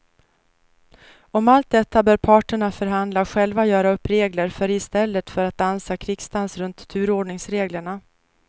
Om allt detta bör parterna förhandla och själva göra upp regler för i stället för att dansa krigsdans runt turordningsreglerna.